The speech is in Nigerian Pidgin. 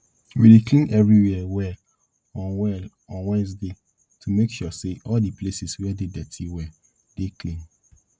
we dey clean everywhere well on well on wednesday to make sure say all the places wey dey dirty well dey clean